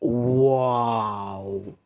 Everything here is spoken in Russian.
вау